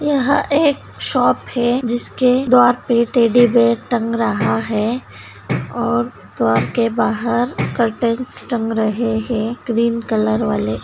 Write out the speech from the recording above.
यहाँ एक शॉप है जिसके द्वार पे टेडी बेयर टंग रहा है और द्वार के बाहर टंग रहे हैं ग्रेन कलर के वाले।